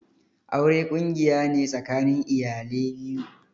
Aure ƙungiya ne tsakanin iyale biyu.